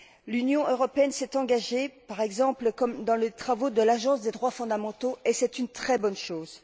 L'Union européenne s'est engagée, par exemple, dans les travaux de l'Agence des droits fondamentaux et c'est une très bonne chose.